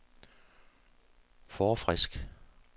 forfrisk